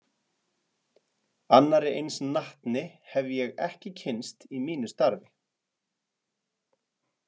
Annarri eins natni hef ég ekki kynnst í mínu starfi.